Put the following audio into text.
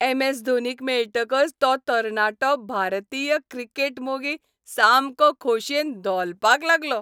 M. S धोनीक मेळटकच तो तरणाटो भारतीय क्रिकेट मोगी सामको खोशयेन धोलपाक लागलो .